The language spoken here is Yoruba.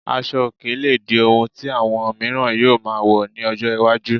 Asọ òkè lè di ohun tí àwọn miiran yóò máa wọ̀ ní ọjọ́ iwájú